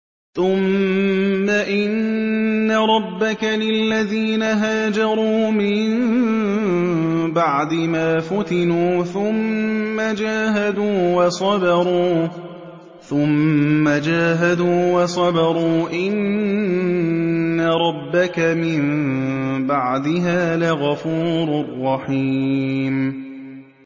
ثُمَّ إِنَّ رَبَّكَ لِلَّذِينَ هَاجَرُوا مِن بَعْدِ مَا فُتِنُوا ثُمَّ جَاهَدُوا وَصَبَرُوا إِنَّ رَبَّكَ مِن بَعْدِهَا لَغَفُورٌ رَّحِيمٌ